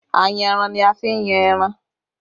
Ayanran ni a fi n yan ẹran